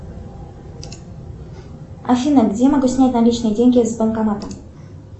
афина где я могу снять наличные деньги с банкомата